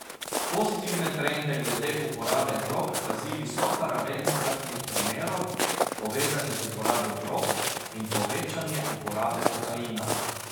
Pozitivne trende glede uporabe drog kazi visoka raven smrtnih primerov, povezanih z uporabo drog, in povečanje uporabe kokaina.